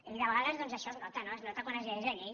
i de vegades això es nota es nota quan es llegeix la llei